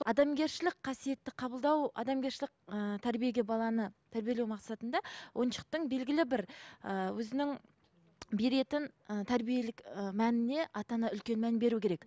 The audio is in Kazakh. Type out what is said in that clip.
адамгершілік қасиетті қабылдау адамгершілік ііі тәрбиеге баланы тәрбиелеу мақсатында ойыншықтың белгілі бір ііі өзінің беретін ііі тәрбиелік і мәніне ата ана үлкен мән беру керек